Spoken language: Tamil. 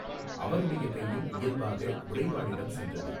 அவனுடைய கையும் இயல்பாக உறைவாளிடம் சென்றது.